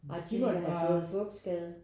Ej de må da have fået fugtskade